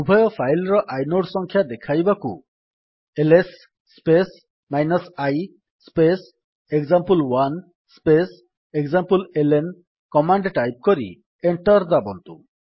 ଉଭୟ ଫାଇଲ୍ ର ଆଇନୋଡ୍ ସଂଖ୍ୟା ଦେଖାଇବାକୁ LS space i space example space ଏକ୍ସାମ୍ପଲେଲ୍ନ କମାଣ୍ଡ୍ ଟାଇପ୍ କରି ଏଣ୍ଟର୍ ଦାବନ୍ତୁ